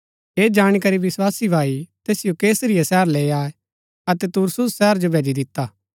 ऐह जाणी करी विस्वासी भाई तैसिओ कैसरिया शहर लैई आये अतै तरसुस शहर जो भैजी दिता